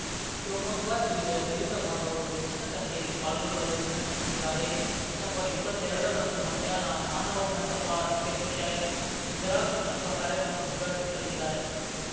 ಶಿವಮೊಗ್ಗ ಜಿಲ್ಲೆಯ ದಲಿತ ಬಾಂಧವರು ಹೆಚ್ಚಿನ ಸಂಖ್ಯೆಯಲ್ಲಿ ಪಾಲ್ಗೊಳ್ಳಲು ವಿನಂತಿಸಿದ್ದಾರೆ ಡಿಸೆಂಬರ್ಇಪ್ಪತ್ತೆರಡರಂದು ಮಧ್ಯಾಹ್ನ ಮಾನವ ಮಂಟಪ ಅಧ್ಯಕ್ಷೆ ಇಂದಿರಾ ಕೃಷ್ಣಪ್ಪ ಕಾರ್ಯಕ್ರಮ ಉದ್ಘಾಟಿಸಲಿದ್ದಾರೆ